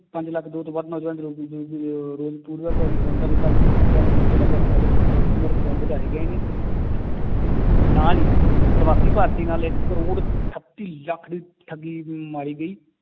ਪੰਜ ਲੱਖ ਦੋ ਤੋਂ ਵੱਧ ਨੌਜਵਾਨ ਵਧਾਏ ਗਏ ਨੇ ਤੇ ਨਾਲ ਹੀ ਪਰਵਾਸੀ ਭਾਰਤੀ ਨਾਲ ਇੱਕ ਕਰੋੜ ਅਠੱਤੀ ਲੱਖ ਦੀ ਠੱਗੀ ਮਾਰੀ ਗਈ